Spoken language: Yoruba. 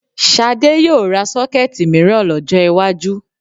Ṣadé yóò ra Ṣọ́kẹ́ẹ̀tì mìíràn lọ́jọ́ iwájú